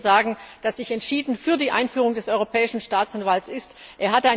Ich möchte Ihnen sagen, dass ich entschieden für die Einführung des Europäischen Staatsanwalts bin.